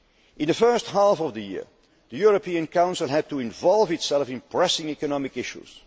clout. In the first half of the year, the European Council had to involve itself in pressing economic